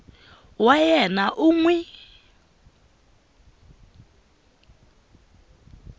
wa yena u n wi